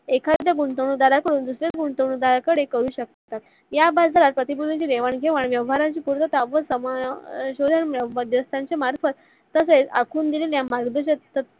एखाद्या गुंतवणूक दारा कडून दुसऱ्या गुंतवणुक दाराकडे करू शकता. या बाजारात प्रतिकृतींची देवान घेवाण व व्यवहाराची संपूर्णता व त्यांचे मार्फत तसेच आखून दिलेल्या